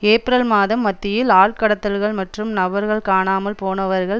April மாதம் மத்தியில் ஆள்கடத்தல்கள் மற்றும் நபர்கள் காணாமல் போனவர்கள்